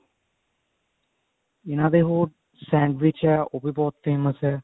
ਇਹਨਾ ਦੇ ਹੋਰ sandwich ਹੋ ਉਹ ਵੀ ਬਹੁਤ famous ਹੈ